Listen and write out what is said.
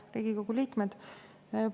Head Riigikogu liikmed!